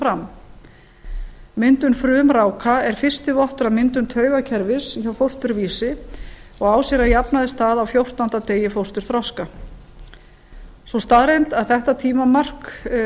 fram myndun frumráka er fyrsti vottur af myndun taugakerfis hjá fósturvísa og á sér að jafnaði stað á fjórtánda degi fósturþroska sú staðreynd að þetta tímamark